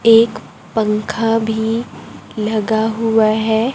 एक पंखा भी लगा हुआ है।